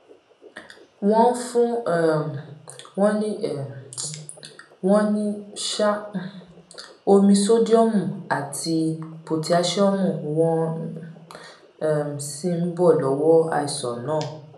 wọn fún um wọn ní um wọn ní um omi sódíọmù àti pòtáṣíọmù wọn um sì bọ lọwọ àìsàn náà